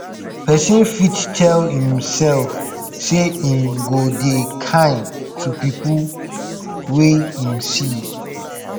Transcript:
persin fit tell imself say im go dey kind to pipo wey im see